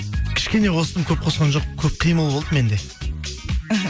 кішкене қостым көп қосқан жоқпын көп қимыл болды менде іхі